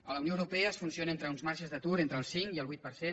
a la unió europea es funciona amb uns marges d’atur d’entre el cinc i el vuit per cent